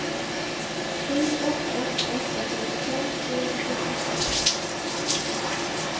sju åtta åtta åtta femtiofem tvåhundrafyrtiotvå